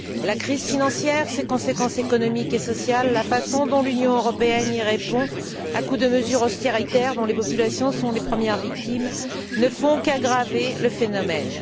La crise financière, ses conséquences économiques et sociales, la façon dont l'Union européenne y répond, à coup de mesures austéritaires, dont les populations sont les premières victimes, ne font qu'aggraver le phénomène.